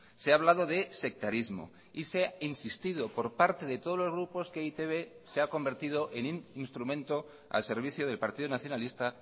se ha hablado de sectarismo y se ha insistido por parte de todos los grupos que e i te be se ha convertido en un instrumento al servicio del partido nacionalista